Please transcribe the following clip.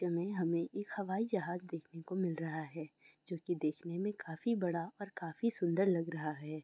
हमें एक हवाई जहाज देखने को मिल रहा है जो कि देखने में काफी बड़ा और काफी सुंदर लग रहा है।